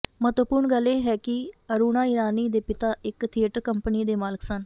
ਮਹੱਤਵਪੂਰਣ ਗੱਲ ਇਹ ਹੈ ਕਿ ਅਰੁਣਾ ਈਰਾਨੀ ਦੇ ਪਿਤਾ ਇਕ ਥੀਏਟਰ ਕੰਪਨੀ ਦੇ ਮਾਲਕ ਸਨ